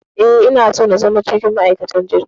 Eh, ina so na zama cikin ma'aikatan jirgin.